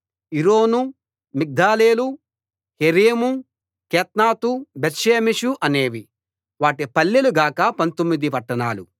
Iron Migdalel Horem Bethanath Bethshemesh అనేవి వాటి పల్లెలు గాక పంతొమ్మిది పట్టణాలు